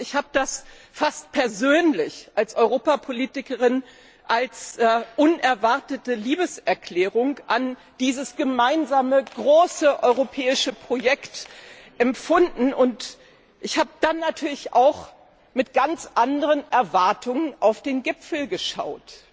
Ich habe das als Europapolitikerin fast persönlich als unerwartete Liebeserklärung an dieses gemeinsame, große europäische Projekt empfunden, und ich habe dann natürlich auch mit ganz anderen Erwartungen auf den Gipfel geschaut.